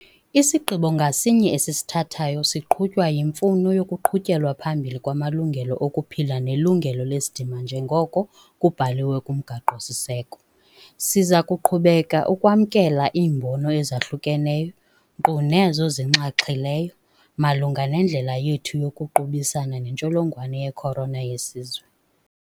Isigqibo ngasinye esisithathayo siqhutywa yimfuno yokuqhutyelwa phambili kwamalungelo okuphila nelungelo lesidima njengoko kubhaliwe kuMgaqo-siseko. Siza kuqhubeka ukwamkela iimbono ezahlukeneyo - nkqu nezo zinxaxhileyo - malunga nendlela yethu yokuqubisana netsholongwane ye-corona yesizwe.